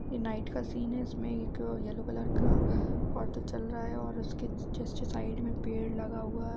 ये नाइट का सीन है| इसमें एक येल्लो कलर का ऑटो चल रहा है और उसके जस्ट साइड में पेड़ लगा हुआ है ।